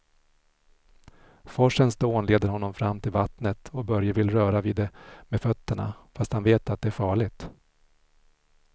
Forsens dån leder honom fram till vattnet och Börje vill röra vid det med fötterna, fast han vet att det är farligt.